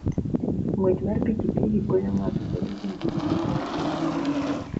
Ng'wech mar pikipiki konyo ng'ato bedo gi ngima mamor kendo maonge tuoche.